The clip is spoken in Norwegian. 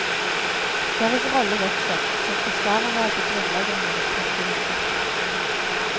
Deres rolle vokser, som forsvarere av de grunnleggende menneskerettigheter.